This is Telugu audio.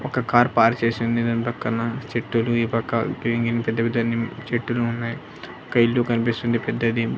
ఒక కార్ పార్క్ చేసి ఉంది దాని పక్కన చెట్టులు ఈ పక్క గ్రీన్-గ్రీన్ పెద్ద-పెద్ద వి చెట్టులు ఉన్నాయ్ ఒక ఇల్లు కన్పిస్తుంది పెద్దది.